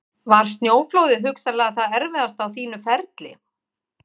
Var snjóflóðið hugsanlega það erfiðasta á þínu ferli?